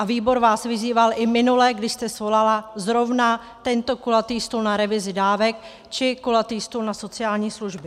A výbor vás vyzýval i minule, kdy jste svolala zrovna tento kulatý stůl na revizi dávek či kulatý stůl na sociální služby.